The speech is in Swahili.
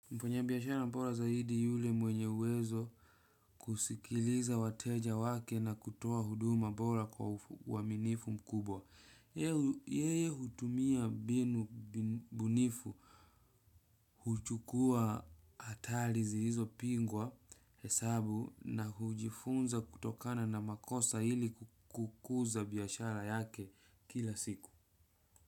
Mfanyabiashara bora zaidi ni yule mwenye uwezo wa kusikiliza wateja wake na kutoa huduma bora kwa uaminifu mkubwa. Yeye hutumia mbinu bunifu huchukua hatari zilizopingwa hesabu na hujifunza kutokana na makosa hili kukuza biashara yake kila siku.